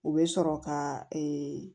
U bɛ sɔrɔ ka